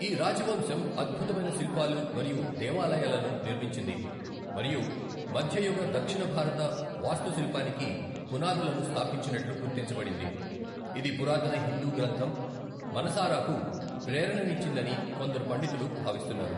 ఈ రాజవంశం అద్భుతమైన శిల్పాలు మరియు దేవాలయాలను నిర్మించింది మరియు మధ్యయుగ దక్షిణ భారత వాస్తుశిల్పానికి పునాదులను స్థాపించినట్లు గుర్తించబడింది, ఇది పురాతన హిందూ గ్రంథం మనసారాకు ప్రేరణనిచ్చిందని కొందరు పండితులు భావిస్తున్నారు.